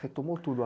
Retomou tudo? A...